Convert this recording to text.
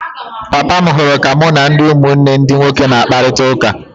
Papa m hụrụ ka mụ na ụmụnne ndi nwoke na-akparịta ụka.